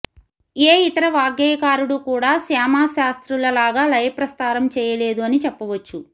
ఏ ఇతర వాగ్గేయకారుడూ కూడా శ్యామాశాస్త్రులలాగ లయప్రస్తారం చేయలేదు అని చెప్పవచ్చు